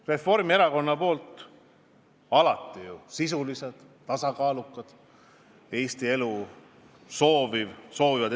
Reformierakonna küsimused on alati sisulised, tasakaalukad, Eesti elu edasi viia soovivad.